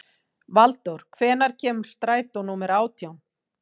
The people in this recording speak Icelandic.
Valdór, hvenær kemur strætó númer átján?